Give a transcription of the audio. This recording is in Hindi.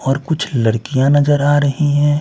और कुछ लड़कियाँ नजर आ रही हैं।